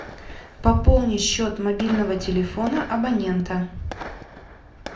пополни счет мобильного телефона абонента